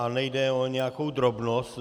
A nejde o nějakou drobnost.